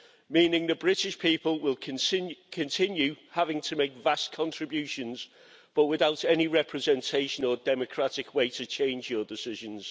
meaning the British people will continue having to make vast contributions but without any representation or democratic way to change your decisions.